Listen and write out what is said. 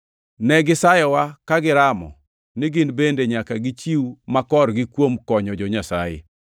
Ne gisayowa ka giramo ni gin bende nyaka gichiw makorgi kuom konyo jo-Nyasaye.